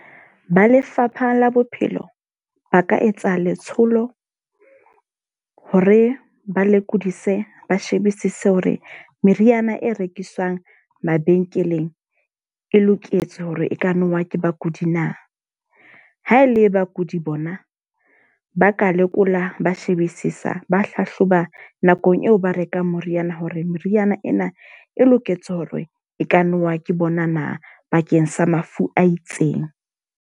Ba Lefapha la Bophelo ba ka etsa letsholo hore ba lekodisise ba shebisise hore meriana e rekiswang mabenkeleng e loketswe hore e ka nowa ke bakudi na. Ha e le bakudi bona, ba ka lekola ba shebisisa ba hlahloba nakong eo ba rekang moriana hore meriana ena e loketswe hore e ka nowa ke bona na bakeng sa mafu a itseng.